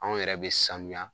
Anw yɛrɛ bɛ sanuya.